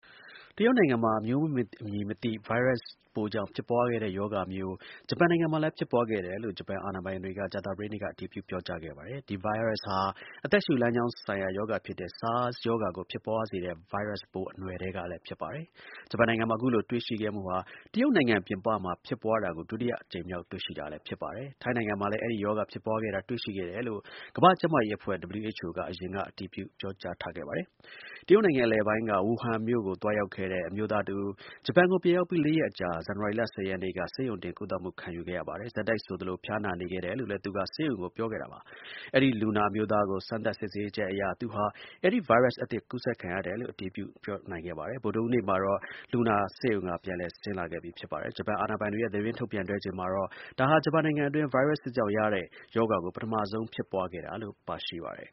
တရုတ်နိုင်ငံမှာ အမျိုးအမည် မသိ ဗိုင်းရပ်စ်ပိုးကြောင့်ဖြစ်ပွားခဲ့တဲ့ ရောဂါ ဂျပန်နိုင်ငံမှာလည်း ဖြစ်ပွားခဲ့တယ်လို့ ဂျပန် အာဏာပိုင်တွေက ကြာသပတေးနေ့က အတည်ပြု ပြောကြားခဲ့ပါတယ်။ ဒီ ဗိုင်းရပ်စ်ဟာ အသက်ရှူလမ်းကြောင်း ဆိုင်ရာ ရောဂါဖြစ်တဲ့ SARS ရောဂါကို ဖြစ်ပွားစေတဲ့ ဗိုင်းရပ်စ်ပိုး အနွယ်ထဲက ဖြစ်ပါတယ်။ ဂျပန်နိုင်ငံမှာ အခုလို တွေ့ရှိခဲ့မှုဟာ တရုတ်နိုင်ငံ ပြင်ပမှာ ဖြစ်ပွားတာကို ဒုတိယအကြိမ်မြောက် တွေ့ရှိခဲ့တာ ဖြစ်ပါတယ်။ ထိုင်းနိုင်ငံမှာလည်း အဲဒီ ရောဂါ ဖြစ်ပွားတာကို တွေ့ရှိခဲ့တယ်လို့ ကမ္ဘာ့ ကျမ်းမာရေးအဖွဲ့ (WHO) က အရင်က အတည်ပြုပြောကြားထားခဲ့ပါတယ်။ တရုတ်နိုင်ငံ အလယ်ပိုင်းက ဝူဟန်မြို့ကို သွားရောက်ခဲ့တဲ့ အမျိုးသား တစ်ဦး ဂျပန်ကို ပြန်ရောက်ပြီး ၄ ရက်အကြာ ဇန်နဝါရီလ ၁၀ ရက်နေ့က ဆေးရုံတင် ကုသမှုခံယူခဲ့ရပါတယ်။ ဆက်တိုက်ဆိုသလို ဖျားနာနေခဲ့တယ်လို့လည်း သူက ဆေးရုံကို ပြောခဲ့ ပါတယ်။ အဲဒီ လူနာ အမျိုးသားကို စမ်းသပ် စစ်ဆေးချက်အရ သူဟာ အဲဒီ ဗိုင်းရပ်စ်အသစ် ကူးစက်ခံခဲ့ရတယ်လို့ အတည်ပြု နိုင်ခဲ့ပါတယ်။ ဗုဒ္ဓဟူးနေ့မှာတော့ အဲဒီ လူနာ ဆေးရုံက ပြန်လည် ဆင်းလာခဲ့ပြီ ဖြစ်ပါတယ်။ ဂျပန် အာဏာပိုင်တွေရဲ့ သတင်းထုတ်ပြန်ချက်မှာတော့ ဒါဟာ ဂျပန်နိုင်ငံအတွင်း ဗိုင်းရပ်စ် သစ်ကြောင့် ရတဲ့ ရောဂါကို ပထမဆုံး ဖြစ်ပွားခဲ့တာလို့ ပါရှိပါတယ်